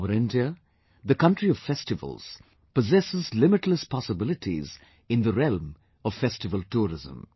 Our India, the country of festivals, possesses limitless possibilities in the realm of festival tourism